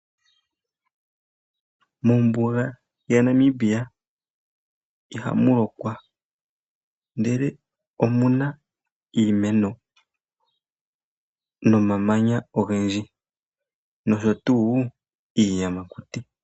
Mombuga yaNamibia ihamulokwa ndele omuna iimeno nomamanya ongendji noshotuu iiyamakuti